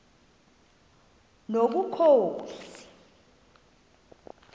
nobukhosi